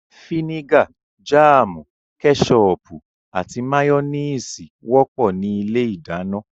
Fínígà, jáàmù, kẹ́sọọ̀pù, àti máyọ́néésì wọ́pọ̀ ní ilé ìdáná